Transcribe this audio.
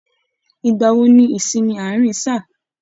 Ìgbà wò ní ìsinmi àárín sáà?